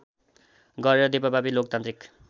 गरेर देशव्यापी लोकतान्त्रिक